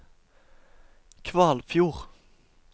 Kvalfjord